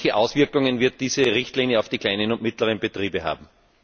Welche Auswirkungen wird diese Richtlinie auf die kleinen und mittleren Betriebe haben?